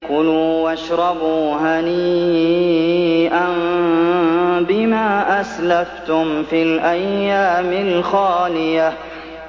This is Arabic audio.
كُلُوا وَاشْرَبُوا هَنِيئًا بِمَا أَسْلَفْتُمْ فِي الْأَيَّامِ الْخَالِيَةِ